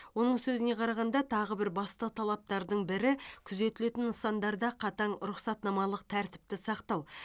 оның сөзіне қарағанда тағы бір басты талаптардың бірі күзетілетін нысандарда қатаң рұқсатнамалық тәртіпті сақтау